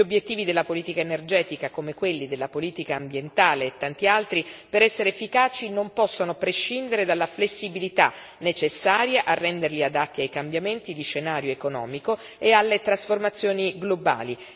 Gli obiettivi della politica energetica, come quelli della politica ambientale e tanti altri, per essere efficaci non possono prescindere dalla flessibilità, necessaria a renderli adatti ai cambiamenti di scenario economico e alle trasformazioni globali.